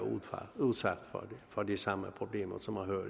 udsat for de samme problemer